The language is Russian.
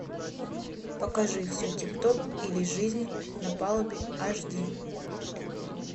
покажи все тип топ или жизнь на палубе аш ди